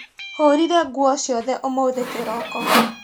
Hũrire nguo ciothe ũmũthĩ kĩroko.